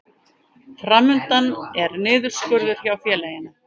Fram undan er niðurskurður hjá félaginu